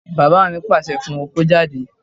Bàbá mi pàṣẹ fún un kó jáde